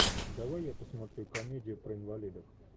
давай я посмотрю комедию про инвалидов